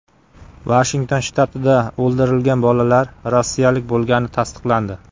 Vashington shtatida o‘ldirilgan bolalar rossiyalik bo‘lgani tasdiqlandi.